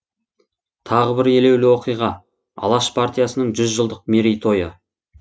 тағы бір елеулі оқиға алаш партиясының жүз жылдық мерей тойы